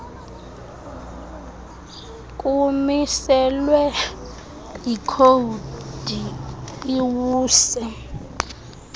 kumiselwe yikhowudi iwuse